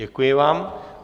Děkuji vám.